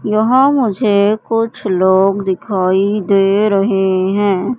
यहां मुझे कुछ लोग दिखाई दे रहे हैं।